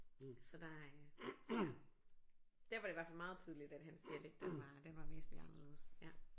Så der øh ja der var det i hvert fald meget tydeligt at hans dialekt den var den var væsentlig anderledes ja